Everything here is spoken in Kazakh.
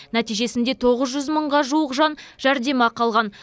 нәтижесінде тоғыз жүз мыңға жуық жан жәрдемақы алған